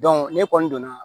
ne kɔni donna